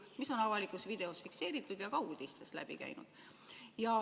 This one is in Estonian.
See on avalikus videos fikseeritud ja ka uudistest läbi käinud.